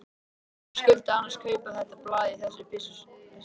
Hverjir skyldu annars kaupa þetta blað í þessu byssulausa landi?